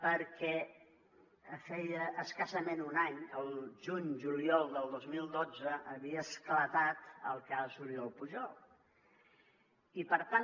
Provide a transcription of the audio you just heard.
perquè feia escassament un any el juny o el juliol del dos mil dotze havia esclatat el cas oriol pujol i per tant